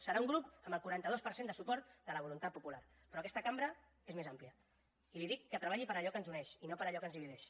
serà un grup amb el quaranta dos per cent de suport de la voluntat popular però aquesta cambra és més àmplia i li dic que treballi per allò que ens uneix i no per allò que ens divideix